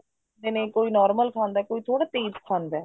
ਖਾਂਦੇ ਨੇ ਕੋਈ normal ਖਾਂਦਾ ਕੋਈ ਥੋੜਾ ਤੇਜ਼ ਖਾਂਦਾ